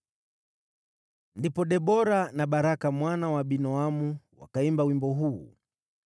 Ndipo Debora na Baraka mwana wa Abinoamu wakaimba wimbo huu: